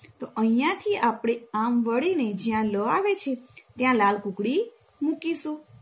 તો અહિયાથી આપણે આમ વળીને જ્યાં લ આવેશે ત્યાં લાલ કૂકડી મૂકીશું